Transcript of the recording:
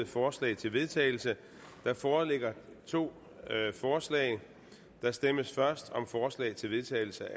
forslag til vedtagelse der foreligger to forslag der stemmes først om forslag til vedtagelse